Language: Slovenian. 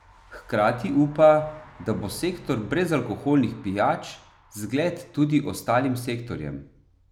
Hkrati upa, da bo sektor brezalkoholnih pijač zgled tudi ostalim sektorjem.